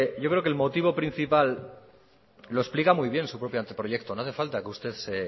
yo creo que el motivo principal lo explica muy bien su propio anteproyecto no hace falta que usted